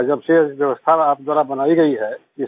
और जब से व्यवस्था आप द्वारा बनाई गई है